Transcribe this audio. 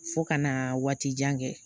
Fo ka na waati jan kɛ